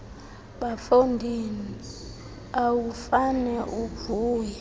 bafondini awufane uvuya